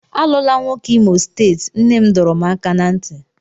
Alụla nwoke Imo steeti, nne m dọrọ m aka ná ntị.